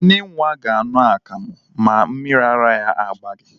Nne nwa ga-aṅụ akamụ ma mmiri ara ya agbaghị.